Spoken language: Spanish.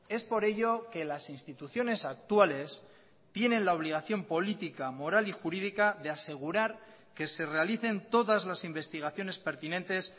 es por ello que las instituciones actuales tienen la obligación política moral y jurídica de asegurar que se realicen todas las investigaciones pertinentes